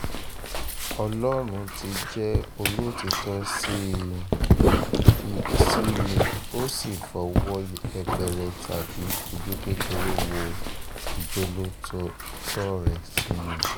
ọlọ́run ti jẹ́ olótìtọ́ sí um mi mi ó sì fọwọ́ yẹpẹrẹ tàbí ojú kékeré wo ìjólótòtọ́ um rẹ̀ sí mi